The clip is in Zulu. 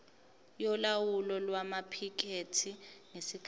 yolawulo lwamaphikethi ngesikhathi